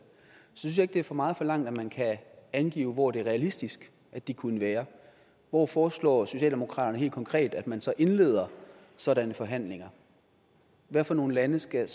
synes jeg ikke det er for meget forlangt at man kan angive hvor det er realistisk de kunne være hvor foreslår socialdemokratiet helt konkret at man så indleder sådanne forhandlinger hvad for nogle lande skal